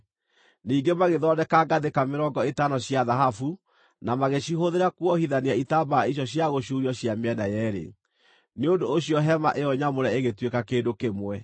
Ningĩ magĩthondeka ngathĩka mĩrongo ĩtano cia thahabu na magĩcihũthĩra kũohithania itambaya icio cia gũcuurio cia mĩena yeerĩ, nĩ ũndũ ũcio hema ĩyo nyamũre ĩgĩtuĩka kĩndũ kĩmwe.